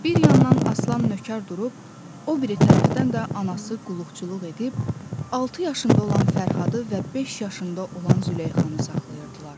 Bir yandan Aslan nökər durub, o biri tərəfdən də anası qulluqçuluq edib, altı yaşında olan Fərhadı və beş yaşında olan Züleyxanı saxlayırdılar.